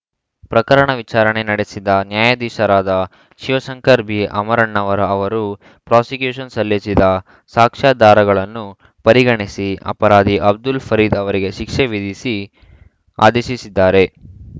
ಪ್ರಕರಣ ವಿಚಾರಣೆ ನಡೆಸಿದ ನ್ಯಾಯಾಧೀಶರಾದ ಶಿವಶಂಕರ್‌ ಬಿಅಮರಣ್ಣನವರ್‌ ಅವರು ಪ್ರಾಸಿಕ್ಯೂಷನ್‌ ಸಲ್ಲಿಸಿದ್ದ ಸಾಕ್ಷ್ಯಾಧಾರಗಳನ್ನು ಪರಿಗಣಿಸಿ ಅಪರಾಧಿ ಅಬ್ದುಲ್‌ ಫರೀದ್‌ ಅವರಿಗೆ ಶಿಕ್ಷೆ ವಿಧಿಸಿ ಆದೇಶಿಸಿದ್ದಾರೆ